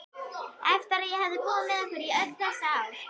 Eftir að hafa búið með ykkur í öll þessi ár?